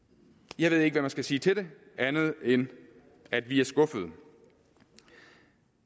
jeg ved ikke hvad man skal sige til det andet end at vi er skuffede